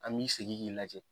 An b'i sigi k'i lajɛ.